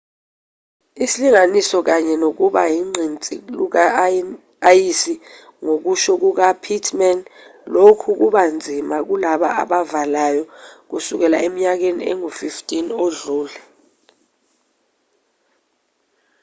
isilinganiso kanye nokuba ugqinsi luka-ayisi ngokusho kuka pittman lokhu kubanzima kulaba abavalayo kusukela eminyakeni engu-15 edlule